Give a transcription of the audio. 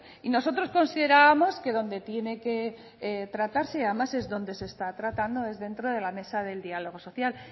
y nosotros considerábamos que donde tiene que tratarse y además es donde se está tratando es dentro de la mesa del diálogo social